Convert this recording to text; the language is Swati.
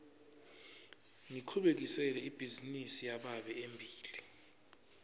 ngichubekisela ibhizinisi yababe embili